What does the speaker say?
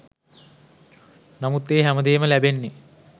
නමුත් ඒ හැම දේම ලැබෙන්නෙ